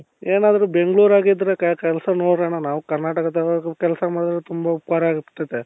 ಏನಾದ್ರು ಬೆಂಗಳೂರು ಆಗಿದ್ರೆ ಕೆಲಸ ನೋಡ್ರಣ್ಣ ನಾವು ಕರ್ನಾಟಕದಾಗೆ ಕೆಲಸ ಮಾಡುದ್ರೆ ತುಂಬಾ ಉಪಕಾರ ಆಗ್ತದೆ